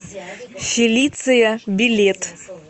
фелиция билет